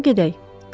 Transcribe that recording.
Onda gedək.